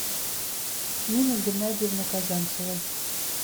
нины геннадиевны казанцевой